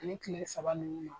Ni kile saba ninnu na